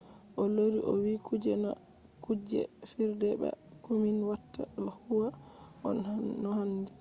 o lori o vi kuje do na kuje fijirde ba. ko min watta do huwa no handi.